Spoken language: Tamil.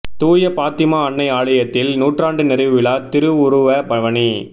தூய பாத்திமா அன்னை ஆலயத்தில் நூற்றாண்டு நிறைவு விழா திருவுருவ பவனி